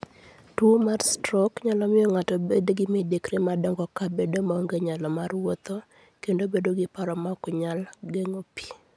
Tuwo mar strok nyalo miyo ng'ato obed gi midekre madongo kaka bedo maonge nyalo mar wuotho, kendo bedo gi paro maok nyal geng'o pi.